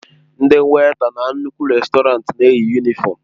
Ndị wèịta na nnukwu rèstọrantị na-eyi yunịfọmu.